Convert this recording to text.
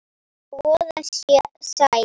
Og voða sætt.